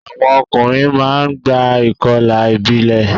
Àwọn ọkùnrin máa ń gba ìkọlà ìbílẹ̀.